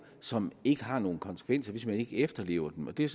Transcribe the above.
som ikke har nogen konsekvenser hvis man ikke efterlever dem og det er